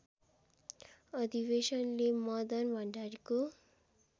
अधिवेशनले मदन भण्डारीको